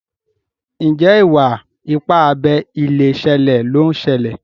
Njé Iwa-ipa abé ilé ṣẹlẹ ló ń ṣẹlẹ?